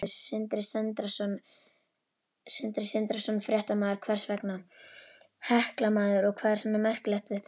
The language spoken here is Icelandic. Sindri Sindrason, fréttamaður: Hvers vegna?